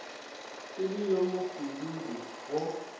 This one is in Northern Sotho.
e le yo mopududu go